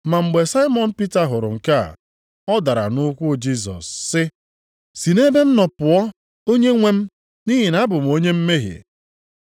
Ma mgbe Saimọn Pita hụrụ nke a, ọ dara nʼukwu Jisọs sị, “Si nʼebe m nọ pụọ, Onyenwe m, nʼihi na abụ m onye mmehie.”